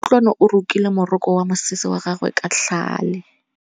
Kutlwanô o rokile morokô wa mosese wa gagwe ka tlhale.